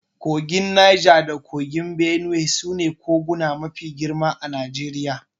Kogin Naja da kogin Benuwe su ne koguna mafi girma a Najeriya.